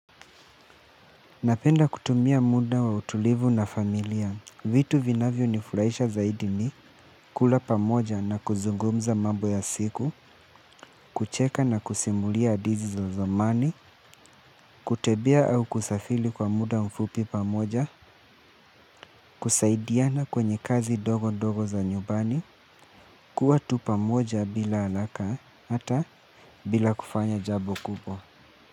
Napenda kutumia muda wa utulivu na familia vitu vinavyo nifurahisha zaidi ni kula pamoja na kuzungumza mambo ya siku kucheka na kusimulia hadithi za zamani kutembea au kusafiri kwa muda mfupi pamoja kusaidiana kwenye kazi ndogo ndogo za nyumbani, kuwa tu pamoja bila haraka hata bila kufanya jambo kubwa.